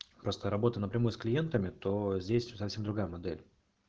просто работа на прямой с клиентами то здесь совсем другая модель